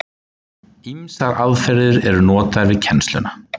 Ýmsar aðferðir eru notaðar við kennsluna.